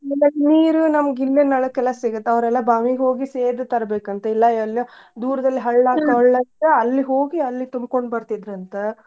ಹ್ಮ್ ನೀರು ನಮ್ಗ ಇಲ್ಲೇ ನಳಕ್ಕೆಲ್ಲಾ ಸಿಗ್ತಾವ್ ಅವ್ರೆಲ್ಲಾ ಬಾವಿಗ್ ಹೋಗಿ ಸೇದಿ ತರ್ಬೆಕಂತ ಇಲ್ಲಾ ಎಲ್ಲೋ ದೂರ್ದಲ್ಲಿ ಹಳ್ಳಾ ಇದ್ರೆ ಅಲ್ಲಿ ಹೋಗಿ ಅಲ್ಲಿ ತುಂಬ್ಕೊಂಡ್ ಬರ್ತಿದ್ರಂತ.